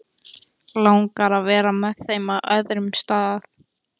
Langar að vera með þeim á öðrum stað.